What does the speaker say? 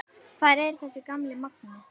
Hvar er þessi gamli magnaði?